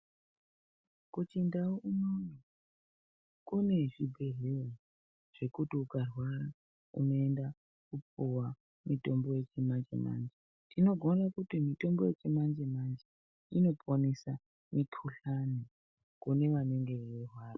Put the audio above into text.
Kuchindau unono kune zvibhedhlera zvekuti ukarwara unoenda kopuva mitombo yechimanje-manje. Tinogone kuti mitombo yechimanje-manje inokwanisa mikuhlani kune vanenge veirwara.